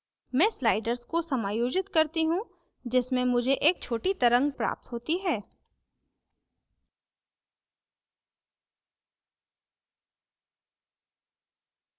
मैं sliders को समायोजित करती हूँ जिससे मुझे एक छोटी तरंग प्राप्त होती है